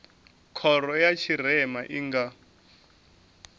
khoro ya tshirema i nga